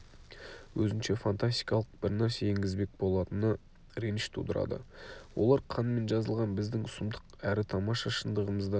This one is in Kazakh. өзінше фантастикалық бірнәрсе енгізбек болатыны реніш тудырады олар қанмен жазылған біздің сұмдық әрі тамаша шындығымызды